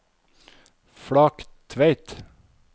Flaktveit